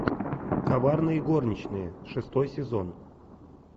коварные горничные шестой сезон